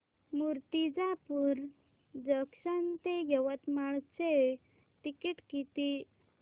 Murtijapur junction ते यवतमाळ चे ticket किती